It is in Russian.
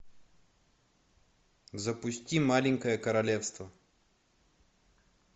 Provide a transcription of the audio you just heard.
запусти маленькое королевство